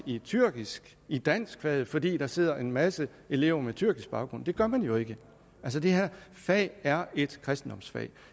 i tyrkisk i danskfaget fordi der sidder en masse elever med tyrkisk baggrund og det gør man jo ikke det her fag er et kristendomsfag